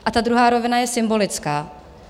A ta druhá rovina je symbolická.